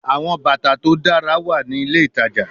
Awọn bata to dara wa ni ile itaja